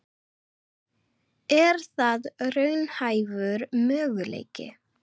Er það raunhæfur möguleiki?